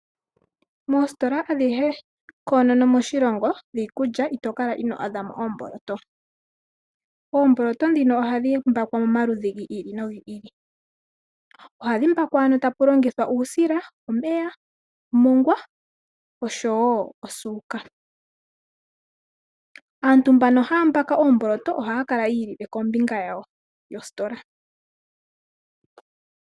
Moositola adhihe koonono moshilongo dhiikulya ito kala ino adhamo oomboloto. Oomboloto dhino ohadhi mbaakwa momaludhi gi ili nogi ili. Ohadhi mbakwa ano tapu longithwa uusila, omeya, omongwa oshowo osuuka. Aantu mbaka haya mbaaka oomboloto ohaya kala yiilile kombinga yawo yositola.